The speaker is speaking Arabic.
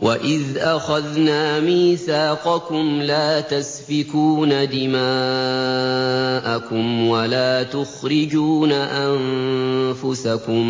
وَإِذْ أَخَذْنَا مِيثَاقَكُمْ لَا تَسْفِكُونَ دِمَاءَكُمْ وَلَا تُخْرِجُونَ أَنفُسَكُم